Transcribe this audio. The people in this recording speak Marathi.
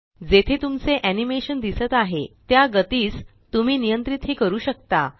जेथे तुमचे एनी मेशन दिसत आहे त्या गतीस तुम्ही नियंत्रित ही करू शकता